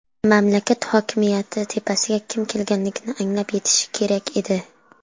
Mamlakat hokimiyat tepasiga kim kelganligini anglab yetishi kerak edi.